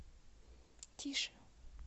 тише